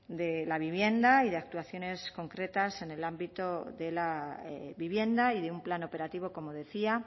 de la vivienda y de actuaciones concretas en el ámbito de la vivienda y de un plan operativo como decía